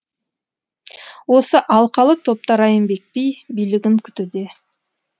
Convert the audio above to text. осы алқалы топта райымбек би билігін күтуде